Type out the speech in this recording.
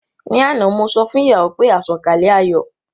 Ní àná mo sọ fún ìyàwó pé àsọ̀kalẹ̀ ayọ̀